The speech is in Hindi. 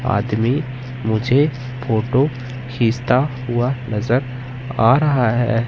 आदमी मुझे फोटो खींचता हुआ नजर आ रहा है।